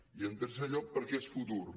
i en tercer lloc perquè és futur